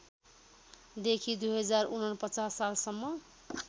देखि २०४९ सालसम्म